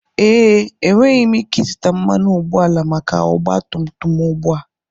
Ee, enweghị m ike ịzụta mmanụ ụgbọala maka ọgba tum tum m ugbu a.